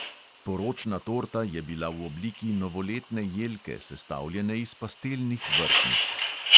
Poročna torta je bila v obliki novoletne jelke, sestavljene iz pastelnih vrtnic.